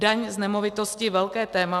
Daň z nemovitosti - velké téma.